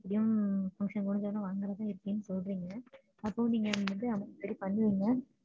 இல்ல mam நீங்க நீங்க பேசுறது எனக்கு